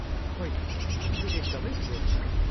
होइन, यो एकदमै ठोस छ।